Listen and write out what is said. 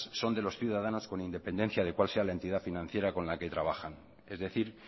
son de los ciudadanos con independencia de cuál sea la entidad financiera con la que trabajan es decir